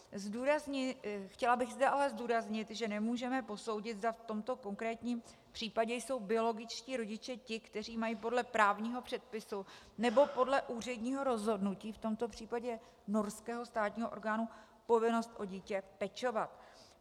Chtěla bych zde ale zdůraznit, že nemůžeme posoudit, zda v tomto konkrétním případě jsou biologičtí rodiče ti, kteří mají podle právního předpisu nebo podle úředního rozhodnutí - v tomto případě norského státního orgánu - povinnost o dítě pečovat.